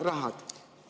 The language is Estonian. ... rahad muudatusteks.